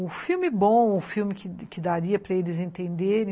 O filme bom, o filme que daria para eles entenderem.